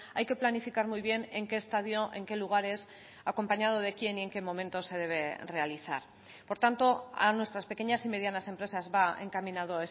hay que planificar muy bien en qué estadio en qué lugares acompañado de quién y en qué momento se debe realizar por tanto a nuestras pequeñas y medianas empresas va encaminado